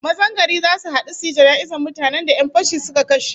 Mazan gari zasu hadu suyi jana'izar mutanen da 'yan fashi suka kashe